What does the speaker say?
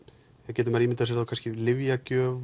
getur maður ímyndað sér lyfjagjöf